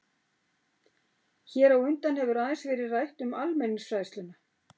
Hér á undan hefur aðeins verið rætt um almenningsfræðsluna.